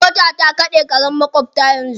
Mota ta kaɗe karen maƙwabta yanzu.